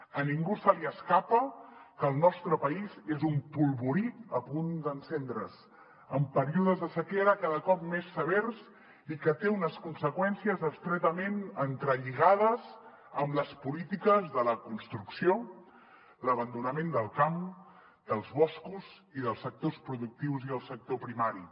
a ningú se li escapa que el nostre país és un polvorí a punt d’encendre’s amb períodes de sequera cada cop més severs i que té unes conseqüències estretament entrelligades amb les polítiques de la construcció l’abandonament del camp dels boscos i dels sectors productius i el sector primari